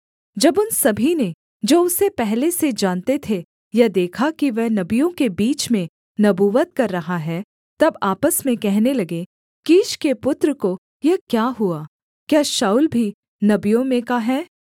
जब उन सभी ने जो उसे पहले से जानते थे यह देखा कि वह नबियों के बीच में नबूवत कर रहा है तब आपस में कहने लगे कीश के पुत्र को यह क्या हुआ क्या शाऊल भी नबियों में का है